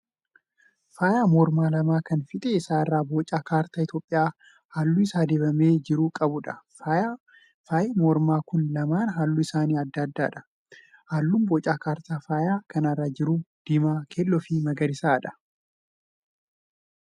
Faayya mormaa lama kan fiixee isaa irraa boca kaartaa Itiyoopiyaa halluu isaan dibamee jiru qabuudha. Faayyi mormaa kun lamaan halluun isaanii adda adda. Halluun boca kaartaa faayya kanaa irra jiru: diimaa, keelloo fi magariisa.